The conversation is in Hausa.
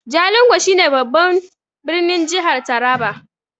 Jalingo shi ne babban birnin jihar taraba